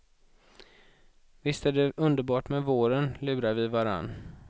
Visst är det underbart med våren, lurar vi varann.